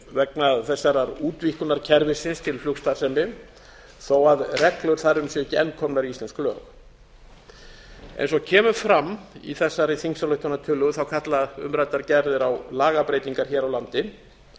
vegna þessarar útvíkkunar kerfisins til flugstarfsemi þó reglum þar um sé ekki enn komin í íslensk lög eins og kemur fram í þessari þingsályktunartillögu kalla umræddar gerðir á lagabreytingar hér á landi